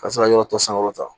Ka se ka yɔrɔ tɔ sankɔrɔta